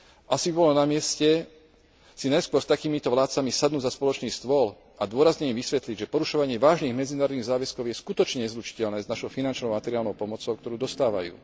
Asi by bolo na mieste si najskôr s takýmito vládcami sadnúť za spoločný stôl a dôrazne im vysvetliť, že porušovanie vážnych medzinárodných záväzkov je skutočne nezlučiteľné s našou finančnou a materiálnou pomocou, ktorú dostávajú.